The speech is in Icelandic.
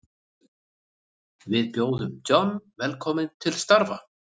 Við bjóðum John velkominn til starfa.